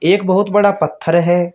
एक बहुत बड़ा पत्थर है।